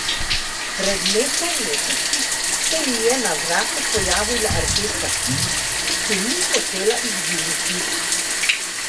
Pred nekaj meseci se ji je na vratu pojavila rdeča pika, ki ni hotela izginiti.